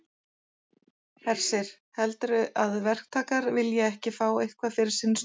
Hersir: Heldurðu að verktakar vilji ekki fá eitthvað fyrir sinn snúð?